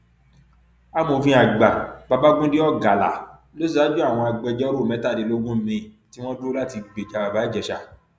amòfin àgbà babagundé ọgálá ló ṣaájú àwọn agbẹjọrò mẹtàdínlógún mìín tí wọn dúró láti gbèjà bàbá ìjèṣà